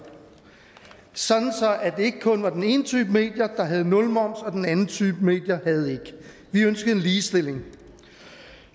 sådan at det ikke kun var den ene type medier der havde nulmoms og den anden type medier der havde vi ønskede en ligestilling